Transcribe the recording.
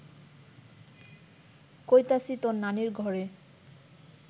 কইতাছি তর নানির ঘরে